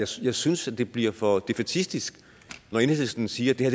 så jeg synes det bliver for defaitistisk når enhedslisten siger